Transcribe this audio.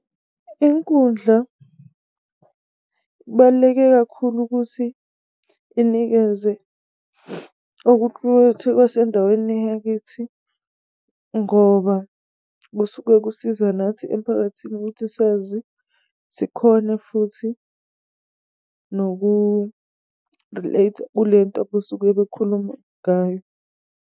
Inkundla kubaluleke kakhulu ukuthi inikeze okuqukethwe okwasendaweni yakithi, ngoba kusuke kusiza nathi emphakathini ukuthi sazi, sikhone futhi noku-relate-a kulento abesuke bekhuluma ngayo.